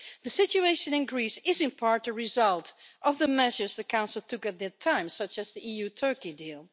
The situation in Greece is, in part, a result of the measures the Council took at that time, such as the EU Turkey deal.